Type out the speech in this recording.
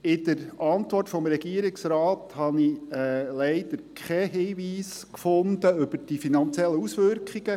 – In der Antwort des Regierungsrates habe ich leider keinen Hinweis gefunden zu den finanziellen Auswirkungen.